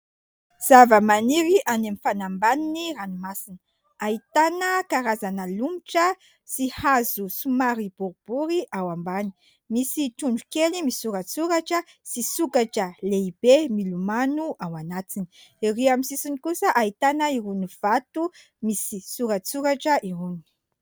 Zavamaniry any amin'ny fanambanin'ny ranomasina : ahitana karazana lomotra sy hazo somary boribory ao ambany, misy trondro kely misoratsoratra sy sokatra lehibe milomano ao anatiny, ery amin'ny sisiny kosa ahitana iron'ny vato misy soratsoratra irony.